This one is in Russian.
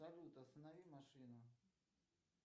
салют останови машину